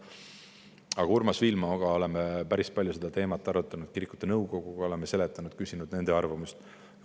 Aga Urmas Viilmaga oleme päris palju seda teemat arutanud, kirikute nõukoguga oleme arutanud, küsinud nende arvamust.